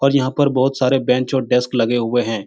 और यहाँ पर बहुत सारे बेंच और डेस्क लगे हुए हैं |